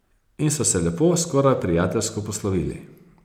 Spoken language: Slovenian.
In so se lepo, skoraj prijateljsko poslovili.